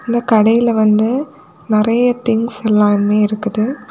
இந்த கடையில வந்து நறைய திங்ஸ் எல்லாமே இருக்குது.